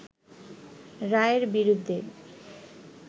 রায়ের বিরুদ্ধে